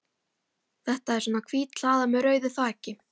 Þetta er svona hvít hlaða með rauðu þaki.